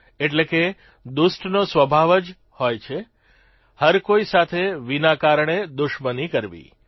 એટલે કે દુષ્ટનો સ્વભાવ જ હોય છે હરકોઇ સાથે વિના કારણે દુશ્મની કરવી